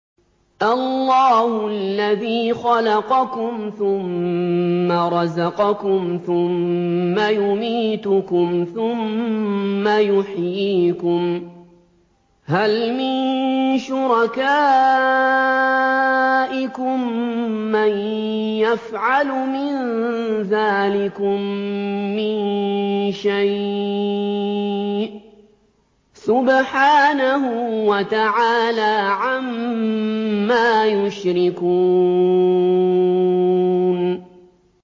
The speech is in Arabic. اللَّهُ الَّذِي خَلَقَكُمْ ثُمَّ رَزَقَكُمْ ثُمَّ يُمِيتُكُمْ ثُمَّ يُحْيِيكُمْ ۖ هَلْ مِن شُرَكَائِكُم مَّن يَفْعَلُ مِن ذَٰلِكُم مِّن شَيْءٍ ۚ سُبْحَانَهُ وَتَعَالَىٰ عَمَّا يُشْرِكُونَ